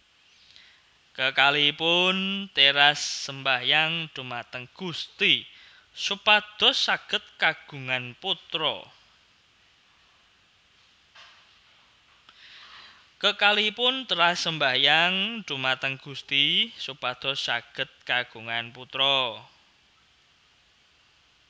Kekalihipun teras sembayang dhumateng Gusti supados saged kagungan putra